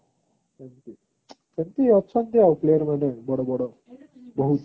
ସେମିତି ଅଛନ୍ତି ଆଉ player ମାନେ ବଡ ବଡ ବହୁତ